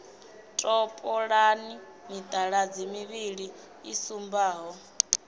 topolani mitaladzi mivhili i sumbaho